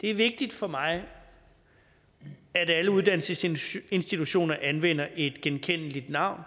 det er vigtigt for mig at alle uddannelsesinstitutioner anvender et genkendeligt navn